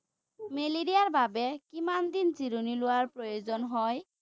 মেলেৰিয়াৰ বাবে কিমান দিন জিৰণি লোৱা প্ৰয়োজন হয়?